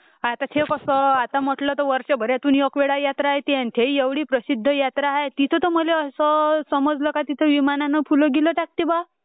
आता ह्यो कसं म्हटलं तर वर्षभरात्न एकदा यात्रा येत्यो....ती ही एवढी प्रसिद्ध यात्रा आहे तिथे मल्ये समजला का तिथे विमानाने फुलं बिलं टाक्यत्ये बा